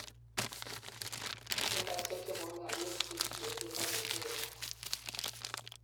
centaisiek chebo mionwek chegigeten ak keteren